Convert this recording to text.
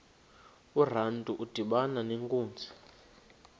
urantu udibana nenkunzi